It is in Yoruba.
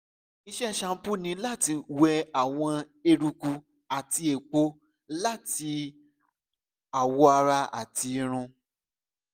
iṣẹ shampoo ni lati wẹ awọn eruku ati epo lati awọ ara ati irun